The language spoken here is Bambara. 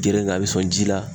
Geren kan a bɛ sɔn ji la